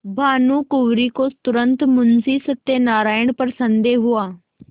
भानुकुँवरि को तुरन्त मुंशी सत्यनारायण पर संदेह हुआ